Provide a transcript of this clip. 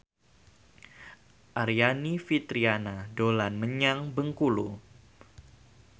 Aryani Fitriana dolan menyang Bengkulu